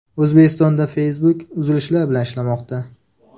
O‘zbekistonda Facebook uzilishlar bilan ishlamoqda.